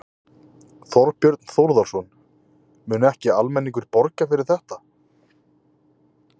Þorbjörn Þórðarson: Mun ekki almenningur borga fyrir þetta?